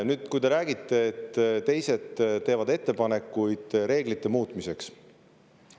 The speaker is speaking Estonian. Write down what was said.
Nüüd, te räägite, et teised teevad ettepanekuid reeglite muutmiseks.